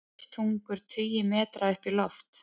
Eldtungur tugi metra upp í loft